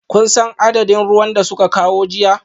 Kun san adadin ruwan da suka kawo jiya?